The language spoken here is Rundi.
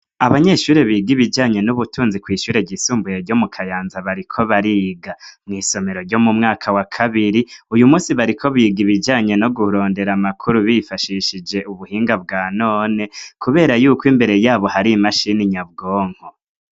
Abanyeshure biga ibijanye n'ubutunzi kwishure ryisumbuye ryo mu Kayanza bariko bariga, mWisomero ryo mu mwaka wa kabiri uyu munsi bariko biga ibijanye no Kurondera amakuru bifashishije ubuhinga bwanone kubera yuko imbere yabo hari imashini nyabwonko.